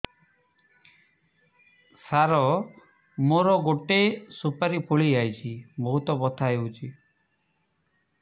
ସାର ମୋର ଗୋଟେ ସୁପାରୀ ଫୁଲିଯାଇଛି ବହୁତ ବଥା ହଉଛି